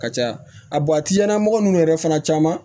Ka ca a mɔgɔ ninnu yɛrɛ fana caman